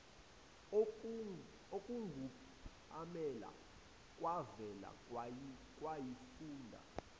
okungupamela kwavele kwayifunda